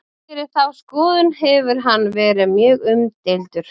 fyrir þá skoðun hefur hann verið mjög umdeildur